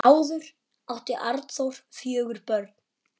Áður átti Arnþór fjögur börn.